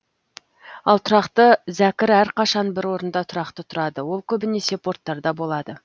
ал тұрақты зәкір әрқашан бір орында тұрақты тұрады ол көбінесе порттарда болады